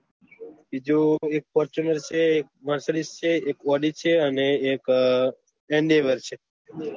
બીજું એક ફોર્તુંનર છે એક મેર્સીડીસ છે એક ઔડી છે અને એક હેન્ડોવ્ર છે